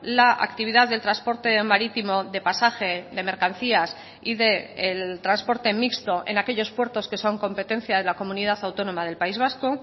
la actividad del transporte marítimo de pasaje de mercancías y del transporte mixto en aquellos puertos que son competencia de la comunidad autónoma del país vasco